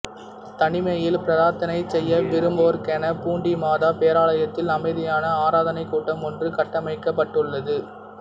தனிமையில் பிரார்த்தனை செய்ய விரும்புவோர்க்கென பூண்டி மாதா பேராலயத்தில் அமைதியான ஆராதனைக்கூடம் ஒன்று கட்டமைக்கப்பட்டுள்ளது